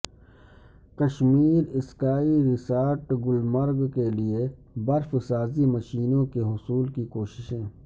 Kashmir ski resort Gulmarg کیلئے برف سازی مشینوں کے حصول کی کوششیں